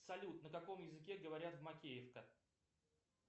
салют на каком языке говорят в макеевка